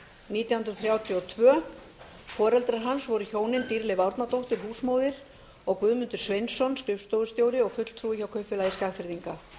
nítján hundruð þrjátíu og tveir foreldrar hans voru hjónin dýrleif árnadóttir húsmóðir og guðmundur sveinsson skrifstofustjóri og fulltrúi hjá kaupfélagi skagfirðinga